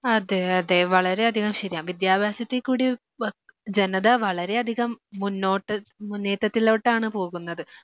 അതെ അതെ വളരെയധികം ശരിയാ. വിദ്യാഭ്യാസത്തിൽ കൂടി ജനത വളരെയധികം മുന്നോട്ട് നേട്ടത്തിലോട്ടാണ് പോകുന്നത്.